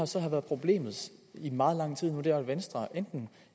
så har været problemet i meget lang tid nu er at venstre enten